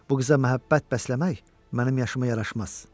Bu qıza məhəbbət bəsləmək mənim yaşıma yaraşmaz.